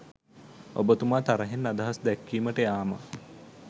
ඔබ තුමා තරහින් අදහස් දැක්වීමට යාම